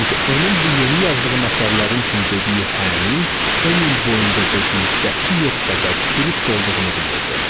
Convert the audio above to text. Çünki onun bu yeni yazdığım əsərlərim üçün dediyi hən, 10 il boyunca dediyi qəti yox qədər dürüst olduğunu bilirdim.